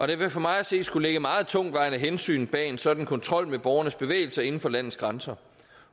der vil for mig at se skulle ligge meget tungtvejende hensyn bag en sådan kontrol med borgernes bevægelser inden for landets grænser